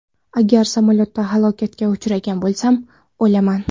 Agar samolyotda halokatga uchragan bo‘lsam, o‘laman.